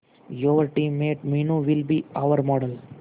your team mate Meenu will be our model